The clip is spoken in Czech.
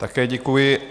Také děkuji.